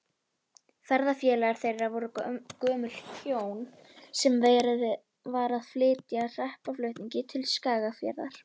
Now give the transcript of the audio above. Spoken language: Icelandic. Ferðafélagar þeirra voru gömul hjón, sem verið var að flytja hreppaflutningi til Skagafjarðar.